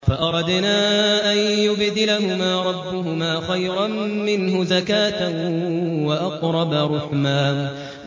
فَأَرَدْنَا أَن يُبْدِلَهُمَا رَبُّهُمَا خَيْرًا مِّنْهُ زَكَاةً وَأَقْرَبَ رُحْمًا